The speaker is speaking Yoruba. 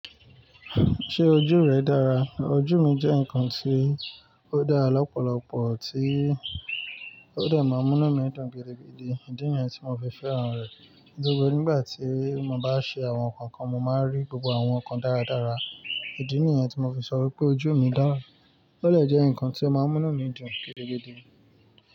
Ṣé ojú rẹ dára? Ojú mi jẹ́ ǹkan tí ó dára lọ́pọ̀lọpọ̀ tí ó dè máa n múnu mi dùn gidigidi. Ìdí nìyẹn tí mo fi fẹ́ràn rẹ̀. Gbogbo nígbà tí mo bá ṣe àwọn nǹkan kan, mo máa rí gbogbo àwọn nǹkan dáradára. Ìdí nìyẹn tí mo fi sọ wípé ojú mi dára. Ó de jẹ́ ǹkan tí ó máa ń múnu mi dùn gidigidi.